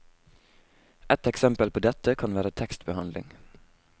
Et eksempel på dette kan være tekstbehandling.